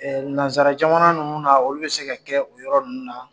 Ɛɛ nanzsara jamana ninnu na ,olu bɛ se ka kɛ o yɔrɔ ninnu na.